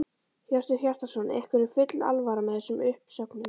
Hjörtur Hjartarson: Ykkur er full alvara með þessum uppsögnum?